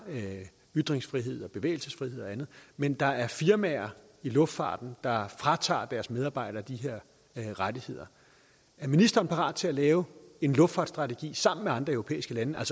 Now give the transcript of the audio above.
ytringsfrihed og bevægelsesfrihed og andet men der er firmaer i luftfarten der fratager deres medarbejdere de her rettigheder er ministeren parat til at lave en luftfartstrategi sammen med andre europæiske lande det